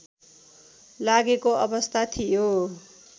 लागेको अवस्था थियो